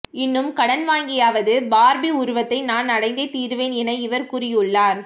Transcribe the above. இன்னும் கடன் வாங்கியாவது பார்பி உருவத்தை நான் அடைந்தே தீருவேன் என இவர் கூறியுள்ளார்